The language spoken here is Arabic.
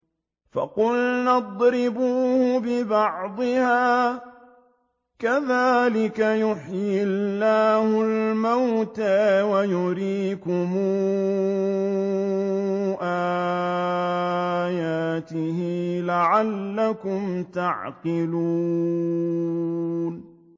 فَقُلْنَا اضْرِبُوهُ بِبَعْضِهَا ۚ كَذَٰلِكَ يُحْيِي اللَّهُ الْمَوْتَىٰ وَيُرِيكُمْ آيَاتِهِ لَعَلَّكُمْ تَعْقِلُونَ